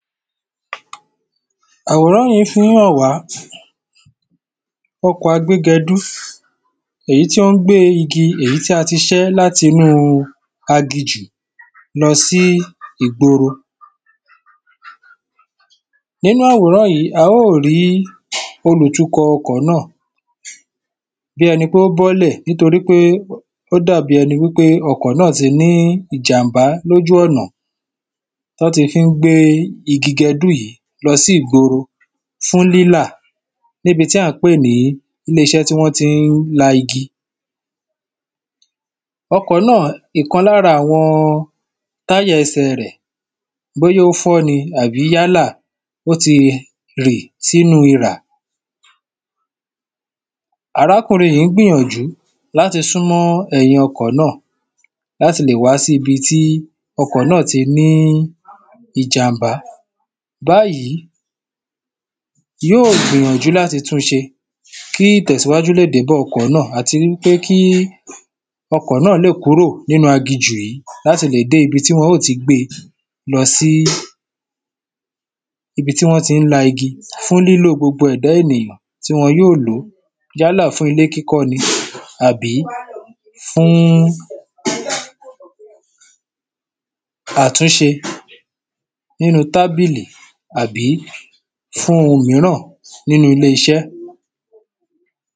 àwòrán yìí fíhàn wá, ọkọ̀ a gbé gẹdú, èyí tí ón gbé igi, èyí tí a ti sẹ́ láti inúu aginjù lọsí ìgboro, nínú àwòrán yìí, a ó rìí olùtukọ̀ ọkọ̀ náà, bí ẹni pé ó bọ́lẹ̀ nítorí pé, o dàbí ẹni wípé ọkọ̀ náà ti ní ìjànbá lójú ọ̀nà, tí wọ́n ti fín gbé igi gẹdú yíì lọsí ìgboro fún rírà, níbi tí ǎn pè ni ilé-isẹ́ tí wọ́n tí n la igi, ọkọ náà, ìkan lára àwọn tiya ese re, bóyá ó fọ́ ni àbí yálà, ó ti rì sínu irà, arákùnrin yìí gbìyànjú láti súnmọ́ ẹ̀yìn ọkọ̀ náà, láti lè wàá sí ibi tí ọkọ̀ náà ti ní ìjànbá, báyìí, yóò gbìyànjú láti tun se, kí tẹ̀síwájú le dé bá ọkọ̀ náà, àti wípé kí ọkọ̀ náà le kúrò nínu aginjù yìí, láti lè dé ibi tí wọ́n ó ti gbe lọsí ibi tí wọ́n tí n la igi, fún lílò gbogbo ẹ̀dá ènìyàn, tí wọn yóò lòó yálà fún ilé kíkọ́ ni àbí fún àtúnse nínu tábìlì àbí fún oun míràn ní ilé-isẹ́